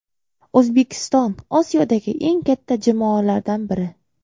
O‘zbekiston Osiyodagi eng katta jamoalardan biri.